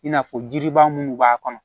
I n'a fɔ jiribaa minnu b'a kɔnɔ